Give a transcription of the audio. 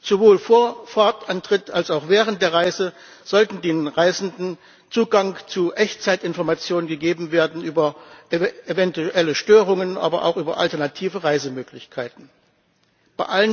Sowohl vor Fahrtantritt als auch während der Reise sollte den Reisenden Zugang zu Echtzeitinformationen über eventuelle Störungen, aber auch über alternative Reisemöglichkeiten gegeben werden.